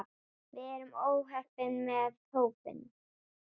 Við erum heppin með hópinn.